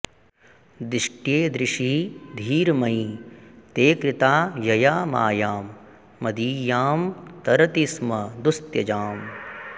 दिष्ट्येदृशी धीर्मयि ते कृता यया मायां मदीयां तरति स्म दुस्त्यजाम्